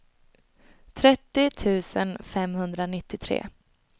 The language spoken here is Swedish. trettio tusen femhundranittiotre